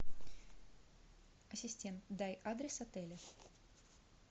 ассистент дай адрес отеля